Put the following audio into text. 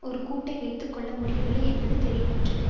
ஒரு கூட்டை வைத்து கொள்ள முடியவில்லை என்பதும் தெளிவாயிற்று